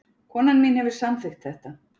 Konan mín hefur samþykkt þetta